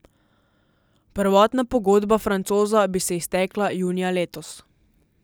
Prvotna pogodba Francoza bi se iztekla junija letos.